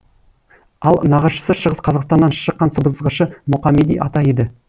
ал нағашысы шығыс қазақстаннан шыққан сыбызғышы мұқамеди ата еді